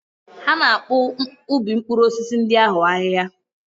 Ha na-akpụ ubi mkpụrụ osisi ndị ahụ ahịhia.